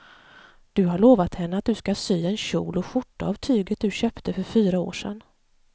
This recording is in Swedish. Du har lovat henne att du ska sy en kjol och skjorta av tyget du köpte för fyra år sedan.